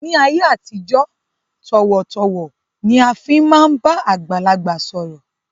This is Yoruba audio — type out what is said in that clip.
Ni ayé àtijọ́, tọ̀wọ̀-tọ̀wọ̀ ni a fi máa ń bá àgbàlagbà sọ̀rọ̀